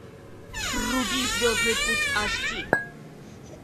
вруби звездный путь аш ди